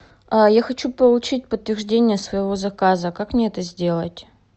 я хочу получить подтверждение своего заказа как мне это сделать